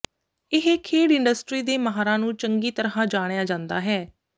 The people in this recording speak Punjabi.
ਇਹ ਖੇਡ ਇੰਡਸਟਰੀ ਦੇ ਮਾਹਰਾਂ ਨੂੰ ਚੰਗੀ ਤਰ੍ਹਾਂ ਜਾਣਿਆ ਜਾਂਦਾ ਹੈ